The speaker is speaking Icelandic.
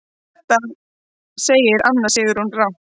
Þetta segir Anna Sigrún rangt.